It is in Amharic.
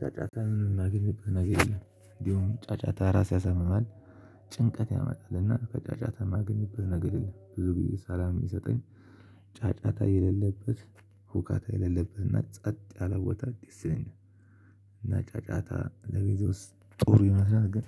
ጫጫታ ምን ማግኘት ነገር የለም እንዲሁም ጫጫታ ራስ ያሰማማል። ጭንቀት ያመጣልና ከጫጫታ ማገኝብህ ነገር የለም ብዙ ጊዜ ሰላም የሚሰጠኝ። ጫጫታ የሌለበት ሁካታ የሌለበትና ጸጥ ያለ ቦታ ደስ ይለኛል። እና ጫጫታ ለቤት ውስጥ ጦሩ ይመስላል ግን